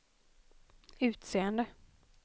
utseende